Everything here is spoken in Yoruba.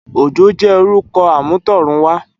Ojo jè órùkò àmútọ̀runwá